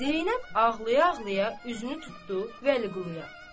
Zeynəb ağlaya-ağlaya üzünü tutdu Vəliquluya.